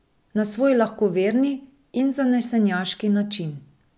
Na svoj lahkoverni in zanesenjaški način.